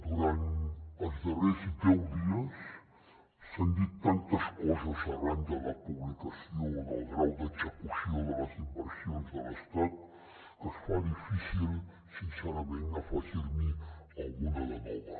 durant els darrers deu dies s’han dit tantes coses arran de la publicació del grau d’execució de les inversions de l’estat que es fa difícil sincerament afegir n’hi alguna de nova